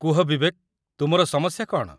କୁହ ବିବେକ, ତୁମର ସମସ୍ୟା କ'ଣ?